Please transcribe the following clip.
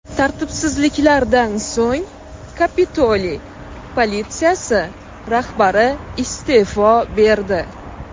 Tartibsizliklardan so‘ng, Kapitoliy politsiyasi rahbari iste’fo berdi .